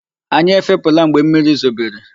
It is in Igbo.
Anyi ẹfepụ̀la mgbe mmiri zobere.